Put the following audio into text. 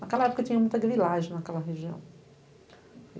Naquela época tinha muita grilagem naquela região.